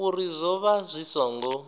uri zwo vha zwi songo